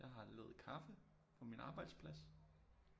Jeg har lavet kaffe på min arbejdsplads